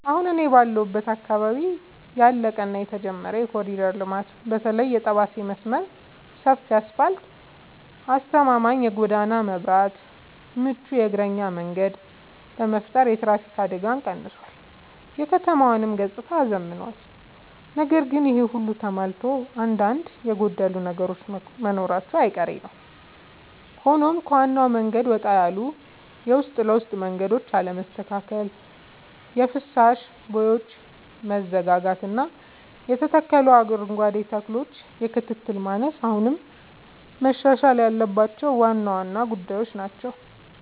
አሁን እኔ ባለሁበት አካባቢ ያለቀ እና የተጀመረ የኮሪደር ልማት (በተለይ የጠባሴ መስመር) ሰፊ አስፋልት: አስተማማኝ የጎዳና መብራትና ምቹ የእግረኛ መንገድ በመፍጠር የትራፊክ አደጋን ቀንሷል: የከተማዋንም ገጽታ አዝምኗል። ነገር ግን ይሄ ሁሉ ተሟልቶ አንዳንድ የጎደሉ ነገሮች መኖራቸው አይቀሬ ነዉ ሆኖም ከዋናው መንገድ ወጣ ያሉ የውስጥ ለውስጥ መንገዶች አለመስተካከል: የፍሳሽ ቦዮች መዘጋጋትና የተተከሉ አረንጓዴ ተክሎች የክትትል ማነስ አሁንም መሻሻል ያለባቸው ዋና ዋና ጉዳዮች ናቸው።